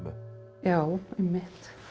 já einmitt